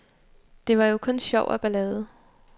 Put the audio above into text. Det var jo kun sjov og ballade.